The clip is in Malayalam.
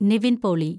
നിവിന്‍ പോളി